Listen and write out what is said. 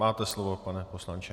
Máte slovo, pane poslanče.